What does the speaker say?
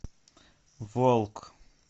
волк